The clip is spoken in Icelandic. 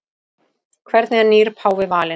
Hvernig er nýr páfi valinn?